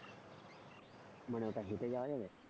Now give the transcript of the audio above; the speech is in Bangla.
মানে ওটা হেঁটে যাওয়া যাবে?